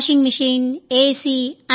washing machine AC